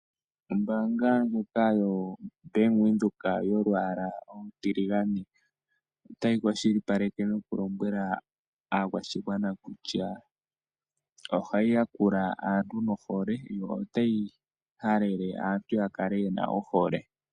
Ombanga ndjoka yoBank Windhoek yolwaala olutiligane otayi kwashilipaleke noku lombwela aakwashigwana kutya ohayi yakula aantu nohole notayi halele aantu ya kale yena ohole.